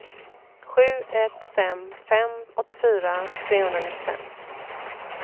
sju ett fem fem åttiofyra trehundranittiofem